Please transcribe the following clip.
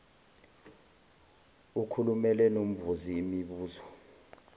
ukhulume nombuzi mibuzo